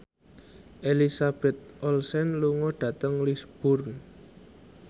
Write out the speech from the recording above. Elizabeth Olsen lunga dhateng Lisburn